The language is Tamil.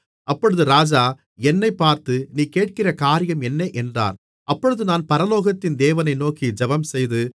அப்பொழுது ராஜா என்னைப் பார்த்து நீ கேட்கிற காரியம் என்ன என்றார் அப்பொழுது நான் பரலோகத்தின் தேவனை நோக்கி ஜெபம்செய்து